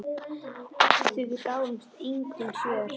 Við því gáfust engin svör.